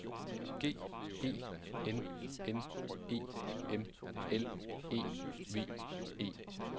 G E N N E M L E V E